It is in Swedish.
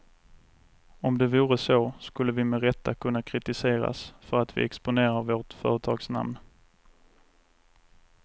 Om det vore så skulle vi med rätta kunna kritiseras för att vi exponerar vårt företagsnamn.